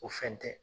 O fɛn tɛ